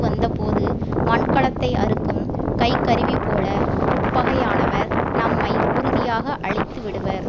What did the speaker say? வந்தபோது மண்கலத்தை அறுக்கும் கைக்கருவிபோல உட்பகையானவர் நம்மை உறுதியாக அழித்து விடுவர்